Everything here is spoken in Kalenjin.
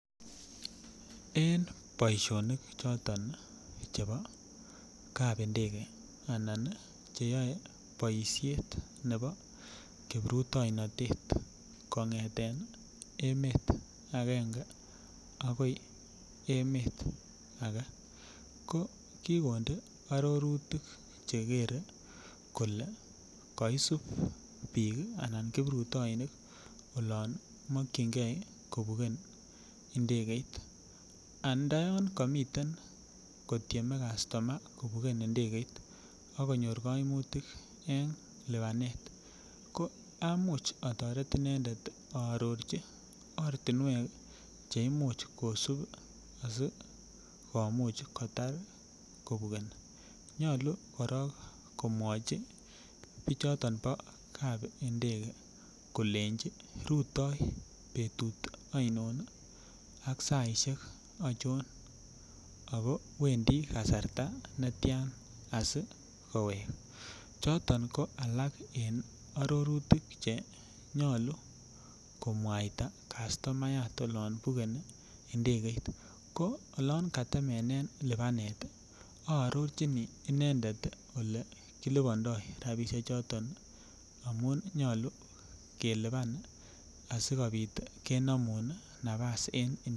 En boisionik choton Chebo kapindege anan choton Che yoe boisiet nebo kiprutoinotet kongeten emet agenge agoi emet age ko ki konde arorutik Che kere kole kaisub bik Anan kiprutoinik olon mokyingei kobugen Ndegeit ando yon komi kotyeme kastoma kobugen Ndegeit ak konyor kaimutik en lipanet ko amuch atoret inendet aarorchi ortinwek Che Imuch kosub asi komuch kotar kobugeni nyolu korok komwachi bichoto bo kap ndege kolenji rutoi betut ainon ak saisiek achon ako wendi kasarta netian asi kowek choton ko alak en arorutik Che nyolu komwaita kastomayat olon bugeni Ndegeit ko oloon katemenen lipanet ii aarochini inendet Ole kilipandoi rabisiechuto asikobit kenomun nafas en Ndegeit